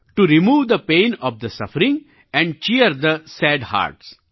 to remove the pain of the suffering and cheer the sad hertz